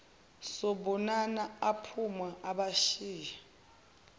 sobonana aphume abashiye